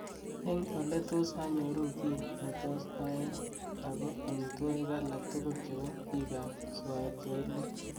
Eng oletos anyoru kiiy netos aee ako amitwogik alak tugul chebo biikap swailik